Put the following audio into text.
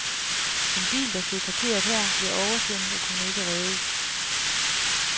En bil, der stod parkeret her, blev oversvømmet og kunne ikke reddes.